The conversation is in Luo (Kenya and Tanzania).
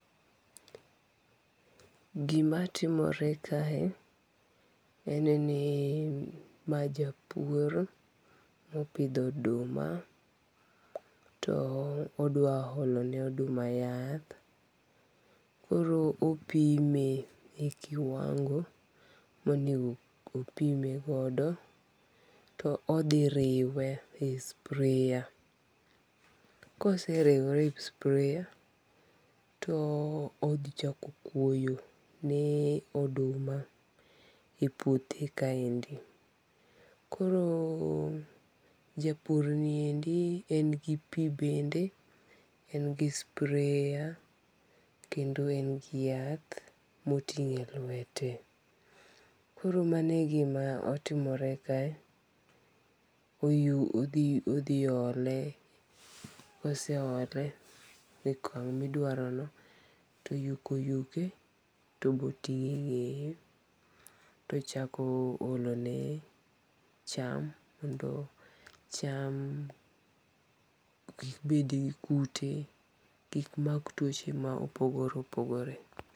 Gimatimore kae, en ni mae japur, opitho oduma to odwa olone oduma yath, koro opime e kiwango' monego opimegodo to othi riwe e sprayer, ka oseriwe e sprayer to othichako kwoyo ni oduma e puothe kaendi, koro japurniendi en gi pi bende, en gi sprayer kendo en gi yath motongi' e lwete, koro mano e gimaotimore kae, othi ole koseole e okong' midwarono' to oyuke oyuke, to obotinge' nge'ye to ochako olone cham mondo cham kikbet gi kute kik mak twoche mapogore opogore.